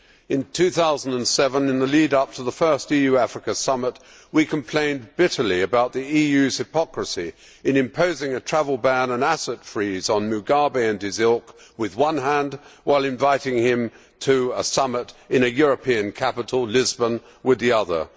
In 2007, in the lead up to the first EU Africa summit, we complained bitterly about the EU's hypocrisy in imposing a travel ban and asset freeze on Mugabe and his ilk with one hand, while inviting him to a summit in a European capital Lisbon with the other.